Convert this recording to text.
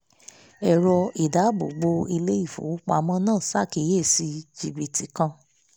ẹ̀rọ ìdáàbòbò ilé ìfowópamọ́ náà ṣàkíyèsí jìbìtì kan